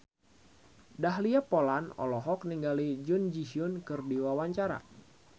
Dahlia Poland olohok ningali Jun Ji Hyun keur diwawancara